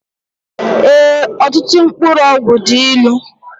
Ee ọtụtụ mkpụrụ ọgwụ dị ịlụ